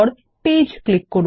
page click করুন